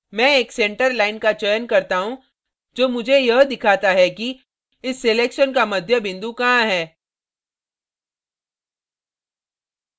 मैं एक centre line का चयन करता हूँ जो मुझे यह दिखाता है कि इस selection का मध्य बिंदु कहाँ है